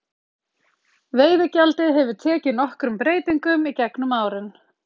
veiðigjaldið hefur tekið nokkrum breytingum í gegnum árin